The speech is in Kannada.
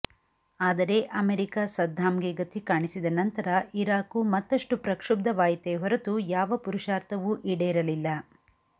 ಆದರೆ ಅಮೆರಿಕ ಸದ್ದಾಂಗೆ ಗತಿ ಕಾಣಿಸಿದ ನಂತರ ಇರಾಕು ಮತ್ತಷ್ಟು ಪ್ರಕ್ಷುಬ್ಧವಾಯಿತೇ ಹೊರತು ಯಾವ ಪುರುಷಾರ್ಥವೂ ಈಡೇರಲಿಲ್ಲ